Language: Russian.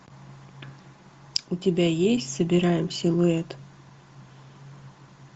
у тебя есть собираем силуэт